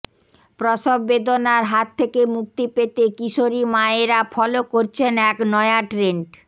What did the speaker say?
প্রসব বেদনার হাত থেকে মুক্তি পেতে কিশোরী মায়েরা ফলো করছেন এক নয়া ট্রেন্ড